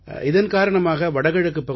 இதன் காரணமாக வடகிழக்குப் பகுதியில்